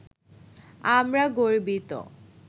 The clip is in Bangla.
আমরা গর্বিত